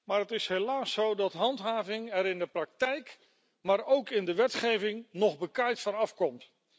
Helaas is het zo dat handhaving er in de praktijk, maar ook in de wetgeving, nog bekaaid van afkomt.